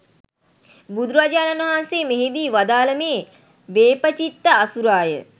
බුදුරජාණන් වහන්සේ මෙහිදී වදාළ මේ වේපචිත්ති අසුරයා